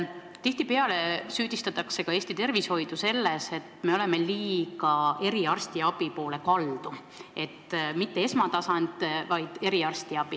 Tihtipeale süüdistatakse Eesti tervishoidu selles, et me oleme liiga eriarstiabi poole kaldu, st mitte esmatasand, vaid eriarstiabi.